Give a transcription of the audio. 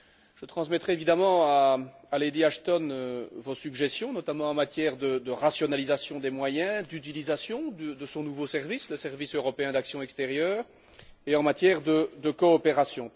Je transmettrai évidemment à Lady Ashton vos suggestions, notamment en matière de rationalisation des moyens, d'utilisation de son nouveau service le service européen d'action extérieure et de coopération.